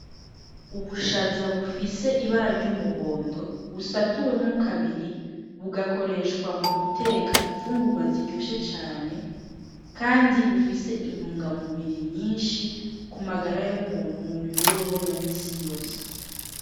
Ubushaza bufise ibara ry'umuhondo busatuwemwo kabiri. Bugakoreshwa mu guteka imfungurwa ziryoshe cane kandi bufise intunga mubiri nyinshi ku magara y'umuntu, mu mibereho ya misi yose.